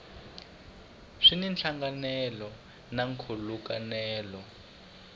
swi na nhlangano na nkhulukelano